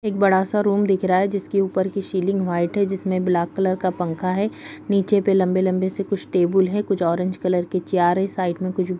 एक बड़ा सा रूम दिख रहा है जिसके ऊपर की सीलिंग व्हाइट है जिसमें ब्लैक कलर का पंखा है नीचे पे लंबी-लंबी से कुछ टेबुल है कुछ ऑरेंज कलर की चैर है और साइड में कुछ --